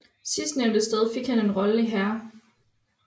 Sidstnævnte sted fik han en rolle i Hair